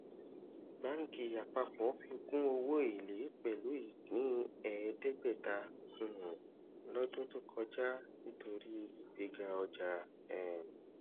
banki apapo fikùn owó elé pẹlú ìpín eedegbeta um lọdún tó kọjá nítorí ìgbéga ọjà um